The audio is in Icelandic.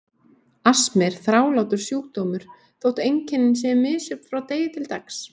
Astmi er þrálátur sjúkdómur þótt einkennin séu misjöfn frá degi til dags.